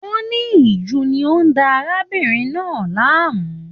Wọ́n ní ìju ni ó ń da arábìnrin náà láàmú.